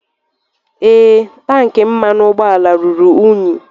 Ee, tank mmanụ ụgbọala ruru unyi.